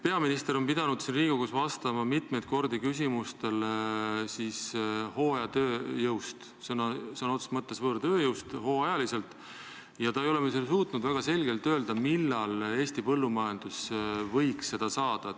Peaminister on pidanud Riigikogus vastama mitu korda küsimustele hooajatööjõu kohta, sõna otseses mõttes võõrtööjõu kohta, hooajaliselt, ja ta ei ole suutnud väga selgelt öelda, millal Eesti põllumajandus võiks seda saada.